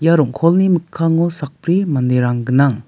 ia rong·kolni mikkango sakbri manderang gnang.